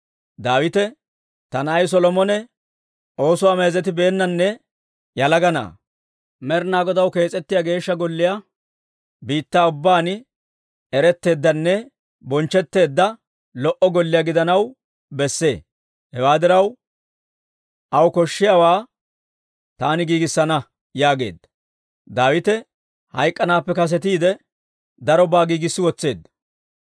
Daawite, «Ta na'ay Solomone oosuwaa meezetibeennanne yalaga na'aa. Med'inaa Godaw kees'ettiyaa Geeshsha Golliyaa biittaa ubbaan eretteeddanne bonchchetteedda, lo"o golliyaa gidanaw besse. Hewaa diraw, aw koshshiyaawaa taani giigissana» yaageedda. Daawite hayk'k'anaappe kasetiide darobaa giigissi wotseedda.